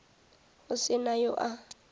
go se na yo a